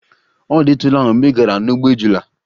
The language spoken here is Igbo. Ọ dịtụla mgbe ị gara n'ugbo ejula?